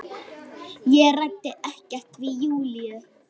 Ég ræddi ekkert við Júlíu.